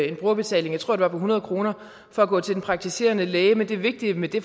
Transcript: en brugerbetaling jeg tror det var på hundrede kroner for at gå til den praktiserende læge men det vigtige med det